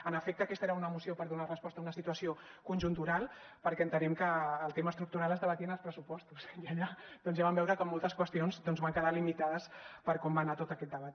en efecte aquesta era una moció per donar resposta a una situació conjuntural perquè entenem que el tema estructural es debatia en els pressupostos i allà doncs ja vam veure com moltes qüestions van quedar limitades per com va anar tot aquest debat